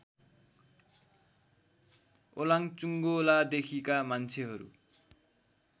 ओलाङ्चुङ्गोलादेखिका मान्छेहरू